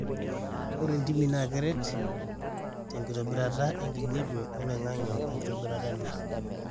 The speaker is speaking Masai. ore ntimi naa keret te enkitobirata enkijape oloingangi oo enkitobirata endaa